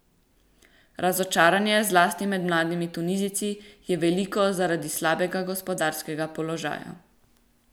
Razočaranje, zlasti med mladimi Tunizijci, je veliko zaradi slabega gospodarskega položaja.